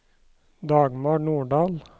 Dagmar Nordal